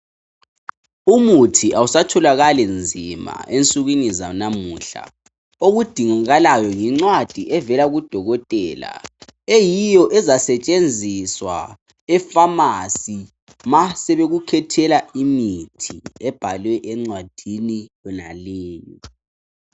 umuthi awusatholakali nzima ensukwini zanamuhla okudingakalayo yincwadi evela ku dokotela eyiyo ezasetshenziswa e phamarcy ma sebekukhethela imithi ebhalwe encwadini yonaleyo